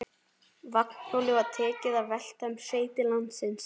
Vagnhjólið var tekið að velta um sveitir landsins.